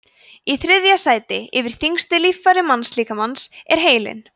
í þriðja sæti yfir þyngstu líffæri mannslíkamans er heilinn